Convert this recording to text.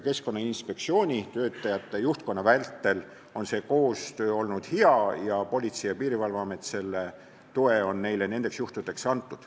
Keskkonnainspektsiooni töötajate ja juhtkonna väitel on koostöö olnud hea ning Politsei- ja Piirivalveamet on selle toe neile nendel juhtudel andnud.